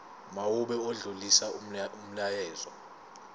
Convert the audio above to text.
mawube odlulisa umyalezo